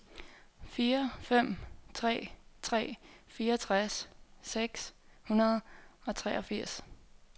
fire fem tre tre fireogtres seks hundrede og treogfirs